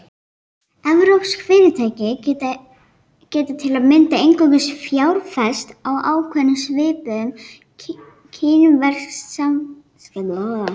Evrópsk fyrirtæki geta til að mynda einungis fjárfest á ákveðnum sviðum kínversks viðskiptalífs.